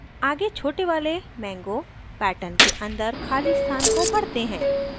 आगे छोटे वाले mango pattern के अंदर खाली स्थान को भरते हैं